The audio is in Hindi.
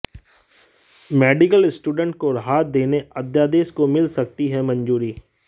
मेडिकल स्टूडेंट्स को राहत देने अध्यादेश को मिल सकती है मंजूरी